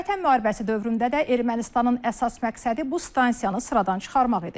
Vətən müharibəsi dövründə də Ermənistanın əsas məqsədi bu stansiyanı sıradan çıxarmaq idi.